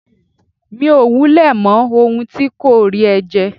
Mi ò wulẹ̀ mọ ohun tí kọ́ríẹ̀ jẹ́.